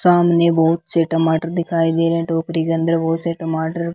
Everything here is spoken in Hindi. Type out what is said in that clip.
सामने बहुत से टमाटर दिखाई दे रहे हैं टोकरी के अंदर बहुत से टमाटर --